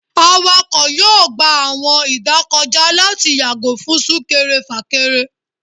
Awakọ yọọ gbá awọn idakojá lati yago fun súnkẹrẹ-fakẹrẹ.